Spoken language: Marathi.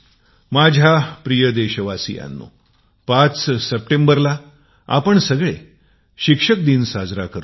माझ्या प्रिय देशवासियांनो ५ सप्टेबरला आपण सगळे शिक्षक दिवस साजरा करतो